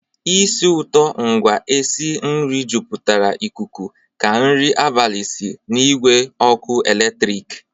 ísì ụtọ ngwa e si nri jupụtara ikuku ka nri abalị si n'igwe ọkụ eletrik.